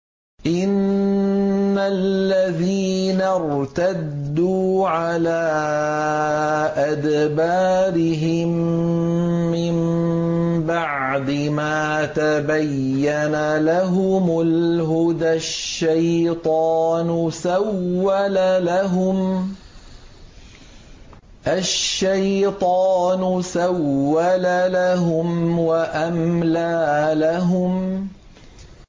إِنَّ الَّذِينَ ارْتَدُّوا عَلَىٰ أَدْبَارِهِم مِّن بَعْدِ مَا تَبَيَّنَ لَهُمُ الْهُدَى ۙ الشَّيْطَانُ سَوَّلَ لَهُمْ وَأَمْلَىٰ لَهُمْ